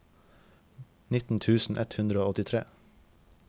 nitten tusen ett hundre og åttitre